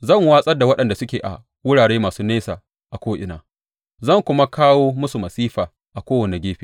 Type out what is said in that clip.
Zan watsar da waɗanda suke a wurare masu nesa a ko’ina zan kuma kawo musu masifa a kowane gefe,